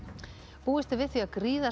búist er við því að